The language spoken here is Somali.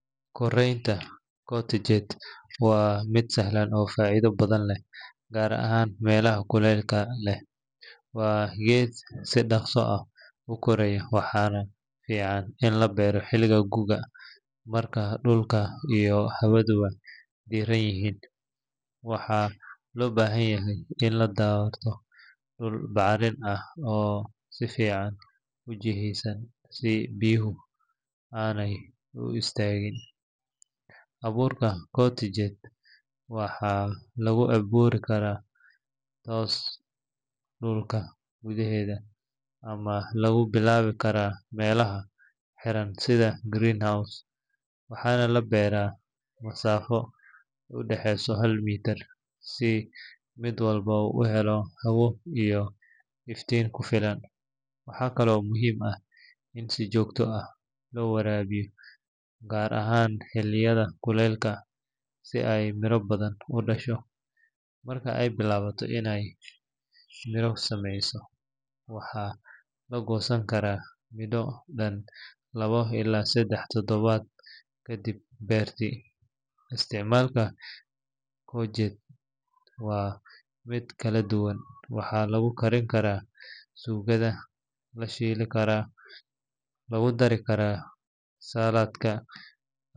Koreynta courgette waa mid sahlan oo faa’iido badan leh gaar ahaan meelaha kuleylka leh. Waa geed si dhaqso ah u koraya waxaana fiican in la beero xilliga guga markay dhulka iyo hawaduba diirran yihiin. Waxaa loo baahan yahay in la doorto dhul bacrin ah oo si fiican u jiheysan si biyuhu aanay u istaagin. Abuurka courgette waxaa lagu beeri karaa toos dhulka gudaheeda ama lagu bilaabi karaa meelaha xiran sida greenhouse waxaana la beeraa masaafo u dhaxaysa hal mitir si mid walba u helo hawo iyo iftiin ku filan. Waxa kale oo muhiim ah in si joogto ah loo waraabiyo gaar ahaan xilliyada kuleylka si ay miro badan u dhasho. Marka ay bilaabato inay miro samayso, waxaa la goosan karaa muddo dhan labo ilaa saddex toddobaad kadib beertidii. Isticmaalka courgette waa mid kala duwan; waxaa lagu karin karaa suugada, la shiili karaa, lagu dari karaa saladhka.